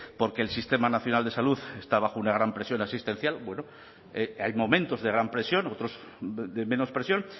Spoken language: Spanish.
porque el sistema nacional de salud está bajo una gran presión asistencial bueno hay momentos de gran presión otros de menos presión